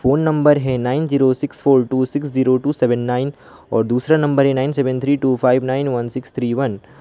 Phone नंबर है nine zero six four two six zero two seven nine और दूसरा नंबर है nine seven three two five nine one six three one.